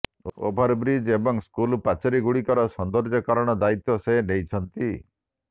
overbridge ଏବଂ school ପାଚିରିଗୁଡ଼ିକର ସୌନ୍ଦର୍ଯ୍ୟକରଣ ଦାୟିତ୍ୱ ସେ ନେଇଛନ୍ତି